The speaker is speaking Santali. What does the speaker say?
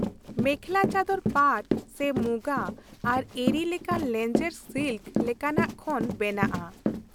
ᱢᱮᱠᱷᱞᱟᱼᱪᱟᱫᱚᱨ ᱯᱟᱴᱷ ᱥᱮ ᱢᱩᱜᱟ ᱟᱨ ᱮᱨᱤ ᱞᱮᱠᱟᱱ ᱞᱮᱸᱡᱮᱨ ᱥᱤᱞᱠ ᱞᱮᱠᱟᱱᱟᱜ ᱠᱷᱚᱱ ᱵᱮᱱᱟᱜᱼᱟ ᱾